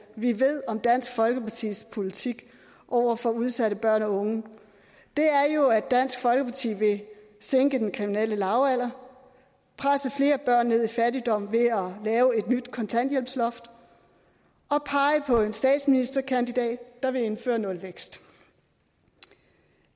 vi ved om dansk folkepartis politik over for udsatte børn og unge er jo at dansk folkeparti vil sænke den kriminelle lavalder presse flere børn ned i fattigdom ved at lave et nyt kontanthjælpsloft og pege på en statsministerkandidat der vil indføre nulvækst